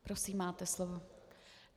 Prosím, máte slovo.